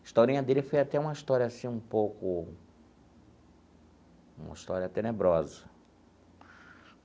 Historinha dele foi até uma história assim um pouco... uma história tenebrosa.